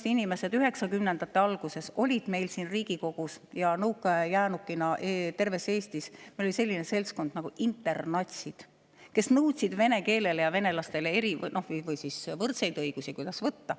1990-ndate alguses oli meil siin Riigikogus ja nõukaaja jäänukina terves Eestis selline seltskond nagu internatsid, kes nõudsid vene keelele ja venelastele eri- või võrdseid õigusi, kuidas võtta.